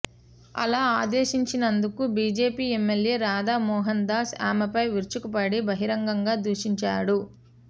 అలా ఆదేశించినందుకు BJP MLA Radha Mohan Das ఆమెపై విరుచుకుపడి బహిరంగంగా దూషించాడు